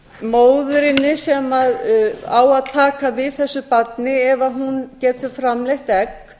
móðurinni sem á að taka við þessu barni ef hún getur framleitt egg